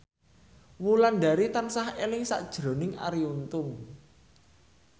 Wulandari tansah eling sakjroning Arie Untung